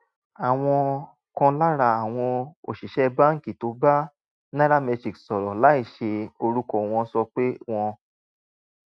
àwọn kan lára àwọn òṣìṣẹ́ báńkì tó bá nairametrics sọ̀rọ̀ láìsí orúkọ wọn sọ pé wọn